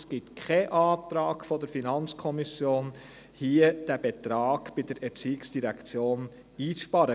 Es gibt keinen Antrag der FiKo, wonach dieser Betrag bei der ERZ einzusparen ist.